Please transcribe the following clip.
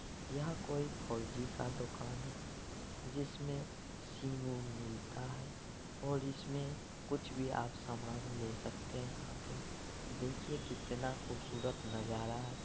यहां कोई फोर-जी का दुकान है जिसमे सीम ओम मिलता है और इसमे कुछ भी आप समान ले सकते हैं आके। देखिए कितना खूबसूरत नजारा---